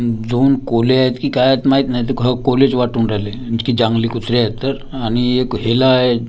दोन कोल्हे आहेत की काय आहेत माहीत नाही ते ख कोल्हेच वाटून राहिले की जांगली कुत्रे आहेत तर आणि एक हेला आहे.